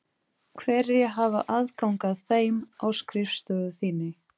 Hverjir hafa aðgang að þeim á skrifstofu þinni?